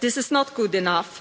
This is not good enough.